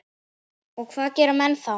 Og hvað gera menn þá?